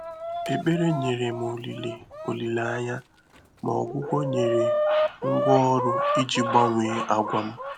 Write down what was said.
Ékpèré nyèrè m ólílé ólílé ányá, mà ọgwụ́gwọ́ nyèrè ngwá ọrụ́ ìjí gbànwèé àgwà m.